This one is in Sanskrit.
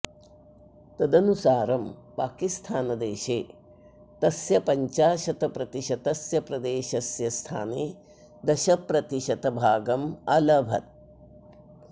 तदनुसारं पाकिस्थानदेशः तस्य पञ्चाशतप्रतिशतस्य प्रदेशस्य स्थाने दशप्रतिशत् भागम् अलभत्